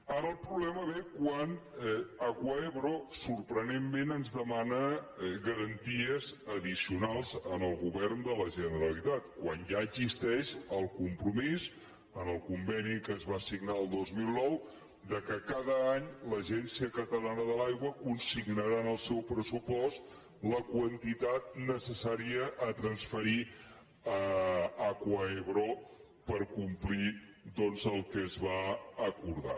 ara el problema ve quan acuaebro sorprenentment ens demana garanties addicionals al govern de la generalitat quan ja existeix el compromís en el conveni que es va signar el dos mil nou que cada any l’agència catalana de l’aigua consignarà en el seu pressupost la quantitat necessària a transferir a acuaebro per complir doncs el que es va acordar